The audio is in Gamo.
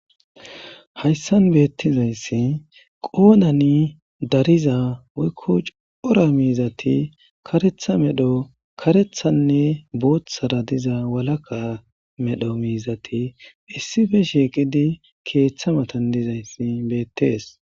Hayssan beettizayssi qoonani dariza weykku cora miizati karetha medho karethanne booththara diza walaka medho miizati issife sheeqidi keeththa matandizayssi beettees.